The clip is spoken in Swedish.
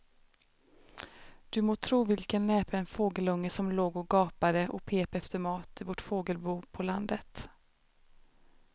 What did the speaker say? Du må tro vilken näpen fågelunge som låg och gapade och pep efter mat i vårt fågelbo på landet.